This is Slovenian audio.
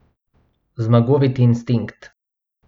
Zmagoviti instinkt.